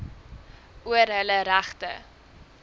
oor hulle regte